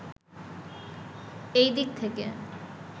এই দিক থেকে